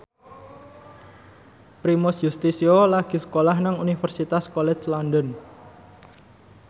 Primus Yustisio lagi sekolah nang Universitas College London